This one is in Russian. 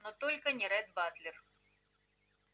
но только не ретт батлер